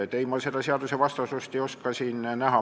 Ei, ma ei oska siin seadusvastasust näha.